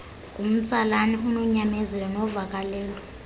ngumtsalane ononyamezelo novakalelo